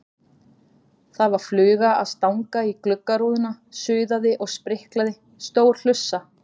Það var fluga að stanga í gluggarúðuna, suðaði og spriklaði, stór hlussa.